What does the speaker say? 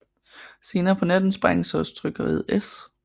Senere på natten sprænges også trykkeriet S